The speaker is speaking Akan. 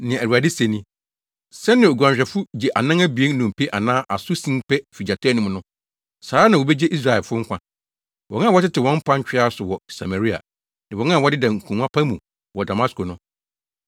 Nea Awurade se ni: “Sɛnea oguanhwɛfo gye anan abien nnompe anaa aso sin pɛ fi gyata anum no, saa ara na wobegye Israelfo nkwa, wɔn a wɔtete wɔn mpa ntwea so wɔ Samaria, ne wɔn a wɔdeda nkongua pa mu wɔ Damasko no.”